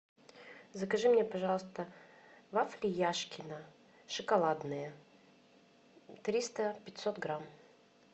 закажи мне пожалуйста вафли яшкино шоколадные триста пятьсот грамм